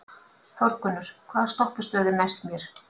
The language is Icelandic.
Þórgunnur, hvaða stoppistöð er næst mér?